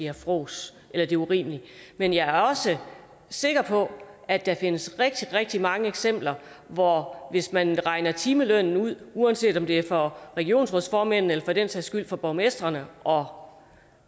er frås eller det er urimeligt men jeg er også sikker på at der findes rigtig rigtig mange eksempler hvor hvis man regner timelønnen ud uanset om det er for regionsrådsformændene eller for den sags skyld for borgmestrene og